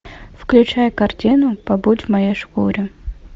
включай картину побудь в моей шкуре